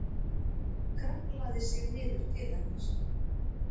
Kraflaði sig niður til hennar.